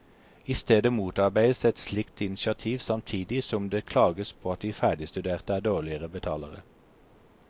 I stedet motarbeides et slikt initiativ samtidig som det klages på at de ferdigstuderte er dårligere betalere.